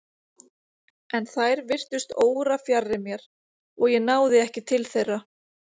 En þær virtust órafjarri mér og ég náði ekki til þeirra.